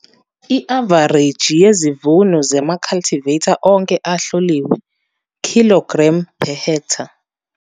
I-avareji yezivuno zamacultivar onke ahloliwe kg per ha.